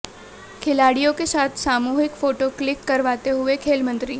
खिलाड़ियों के साथ सामूहिक फोटो क्लिक करवाते हुए खेल मंत्री